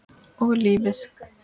Og lífið.